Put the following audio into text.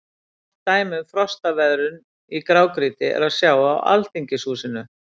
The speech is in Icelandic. Gott dæmi um frostveðrun í grágrýti er að sjá á Alþingishúsinu.